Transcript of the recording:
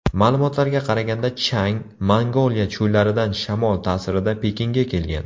Ma’lumotlarga qaraganda chang Mongoliya cho‘llaridan shamol ta’sirida Pekinga kelgan.